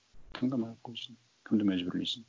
тыңдамай ақ қойсын кімді мәжбүрлейсің